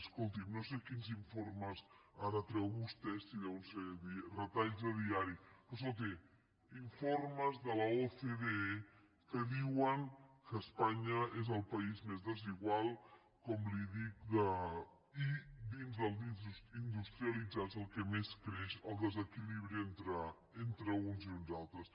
escolti no sé quins informes ara treu vostè si deuen ser retalls de diari però escolti informes de l’ocde que diuen que espanya és el país més desigual com li dic i dins dels industrialitzats al que més creix el desequilibri entre uns i uns altres